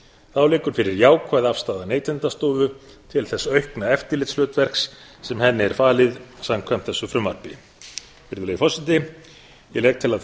þá liggur fyrir jákvæð afstaða neytendastofu til þess aukna eftirlitshlutverks sem henni er falið samkvæmt þessu frumvarpi virðulegi forseti ég legg til að